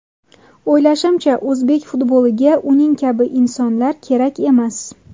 O‘ylashimcha, o‘zbek futboliga uning kabi insonlar kerak emas.